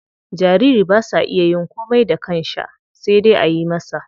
Jariri ba sa iya yin komai da kansha sai dai ayi masa.